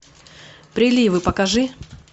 приливы покажи